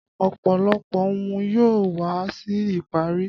Ọ̀pọ̀lọpọ̀ ohun yóò wá sí ìparí.